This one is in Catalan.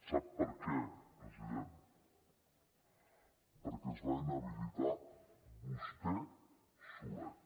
sap per què president perquè es va inhabilitar vostè solet